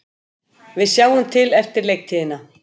Við sjáum til eftir leiktíðina,